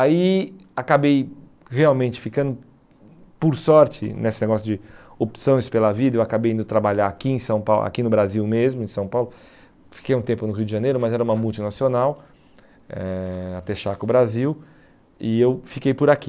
Aí acabei realmente ficando, por sorte, nesse negócio de opções pela vida, eu acabei indo trabalhar aqui em São Pau aqui no Brasil mesmo, em São Paulo, fiquei um tempo no Rio de Janeiro, mas era uma multinacional, eh a Texaco Brasil, e eu fiquei por aqui.